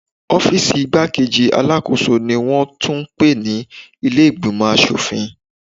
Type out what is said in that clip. Ọ́fíìsì igbá-kejì Alákóso ni wón tún ń pè ní ilé ìgbìmò aṣòfin.